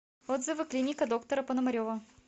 отзывы клиника доктора пономарева